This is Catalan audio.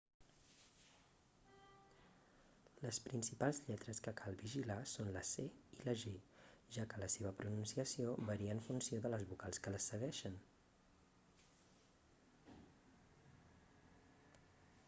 les principals lletres que cal vigilar són la c i la g ja que la seva pronunciació varia en funció de les vocals que les segueixen